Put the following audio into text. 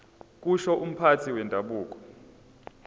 kusho umphathi wendabuko